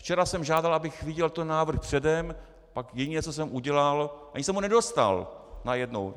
Včera jsem žádal, abych viděl ten návrh předem, pak jediné, co jsem udělal - ani jsem ho nedostal, najednou.